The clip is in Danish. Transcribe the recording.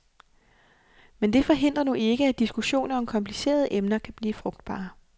Men det forhindrer nu ikke, at diskussioner om komplicerede emner kan blive frugtbare.